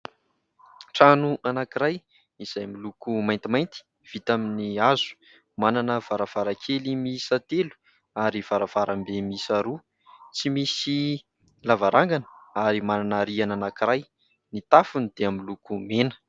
Trano anankiray izay miloko maintimainty vita amin'ny hazo, manana varavarankely miisa telo ary varavaram-by miisa roa, tsy misy lavarangana ary manana rihana anankiray ; ny tafony dia miloko mena.